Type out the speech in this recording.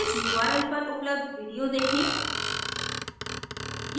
इस url पर उपलब्ध video देखें